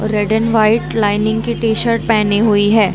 Red and white lining की T shirt पेहनी हुई है।